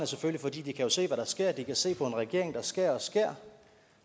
selvfølgelig at de kan se hvad der sker de kan se på en regering der skærer og skærer